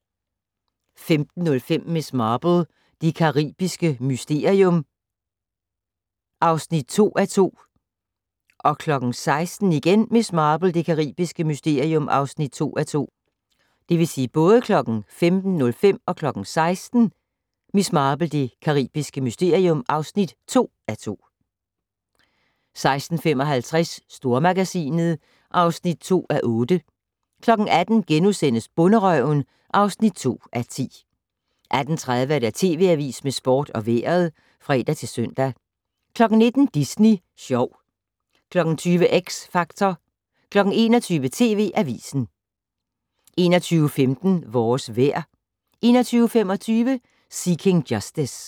15:05: Miss Marple: Det caribiske mysterium (2:2) 16:00: Miss Marple: Det caribiske mysterium (2:2) 16:55: Stormagasinet (2:8) 18:00: Bonderøven (2:10)* 18:30: TV Avisen med Sporten og Vejret (fre-søn) 19:00: Disney sjov 20:00: X Factor 21:00: TV Avisen 21:15: Vores vejr 21:25: Seeking Justice